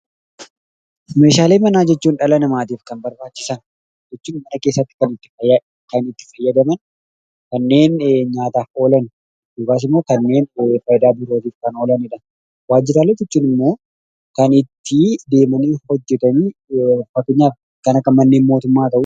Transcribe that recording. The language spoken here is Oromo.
Meeshaalee manaa jechuun dhala namaatiif kan barbaachisan, jechuun kan mana keessatti kan itti fayyadaman kanneen nyaataaf oolan, kan biraas kanneen faayidaa birootiif kan oolani dha. Waajjiraalee jechuun immoo kan itti deemanii hojjetanii, fakkeenyaaf kan akka manneen mootummaa ti.